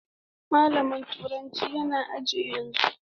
Malamin turanci yana aji yanzu.